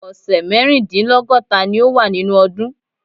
Ọ̀sẹ̀ mẹ́rìndínlọ́gọ́ta ni ó wà nínú ọdún.